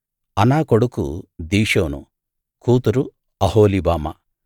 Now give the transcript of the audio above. అనా కొడుకు దిషోను కూతురు అహొలీబామా